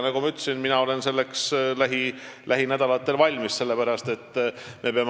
Nagu ma ütlesin, mina olen selleks lähinädalatel valmis.